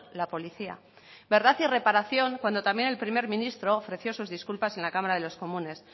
la policía verdad y reparación cuando también el primer ministro ofreció sus disculpas en la cámara de los comunes